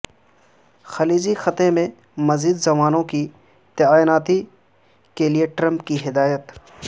خلیجی خطے میں مزید جوانوں کی تعیناتی کے لئے ٹرمپ کی ہدایت